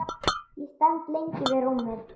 Ég stend lengi við rúmið.